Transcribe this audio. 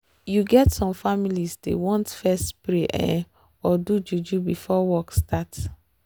you get some families dey want fess pray ehh or do juju before work start